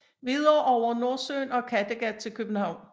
Videre over Nordsøen og Kattegat til København